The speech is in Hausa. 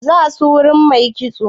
Za su wurin mai kitso?